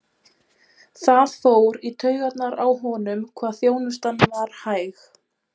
Það fór í taugarnar á honum hvað þjónustan var hæg.